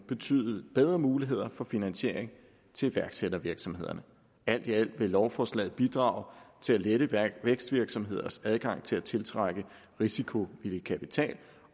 betyde bedre muligheder for finansiering til iværksættervirksomhederne alt i alt vil lovforslaget bidrage til at lette vækstvirksomheders adgang til at tiltrække risikovillig kapital